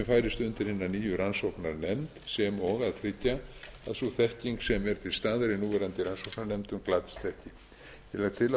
færist undir hina nýju rannsóknarnefnd sem og að tryggja að sú þekking sem er til staðar í núverandi rannsóknarnefndum glatist ekki ég legg til að